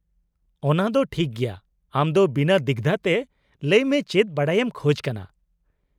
-ᱚᱱᱟ ᱫᱚ ᱴᱷᱤᱠ ᱜᱮᱭᱟ, ᱟᱢ ᱫᱚ ᱵᱤᱱᱟᱹ ᱫᱤᱜᱽᱫᱷᱟᱹᱛᱮ ᱞᱟᱹᱭ ᱢᱮ ᱪᱮᱫ ᱵᱟᱰᱟᱭᱮᱢ ᱠᱷᱚᱡᱽ ᱠᱟᱱᱟ ?